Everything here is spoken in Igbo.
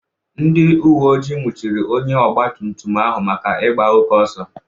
Ndị uwe ojii nwụchiri onye ọgba tum tum ahụ maka ịgba oke ọsọ.